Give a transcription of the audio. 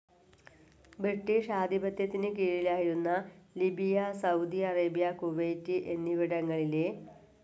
British ആധിപത്യത്തിന് കീഴിലായിരുന്ന Libya, Saudi Arabia, Kuwait എന്നിവിടങ്ങളിൽ എ.